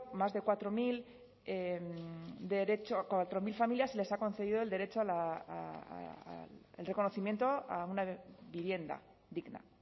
más de cuatro mil a cuatro mil familias se les ha concedido el derecho a el reconocimiento a una vivienda digna